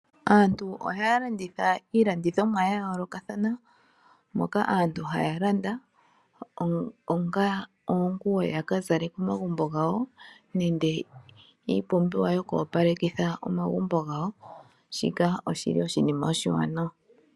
Aantu ohaya landitha iilandithomwa ya yoolokathana, moka aantu haya landa onga oonguwo yaka zale komagumbo gawo, nenge iiyopalekithi ya ka opaleke komagumbo gawo. Shika oshi li oshinima oshiwanawa.